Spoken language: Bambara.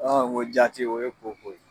ŋo jaati o ye koko ye.